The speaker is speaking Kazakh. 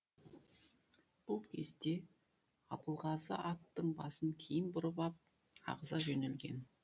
бұл кезде абылғазы аттың басын кейін бұрып ап ағыза жөнелген